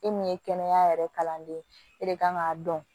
E min ye kɛnɛya yɛrɛ kalanden ye e de kan k'a dɔn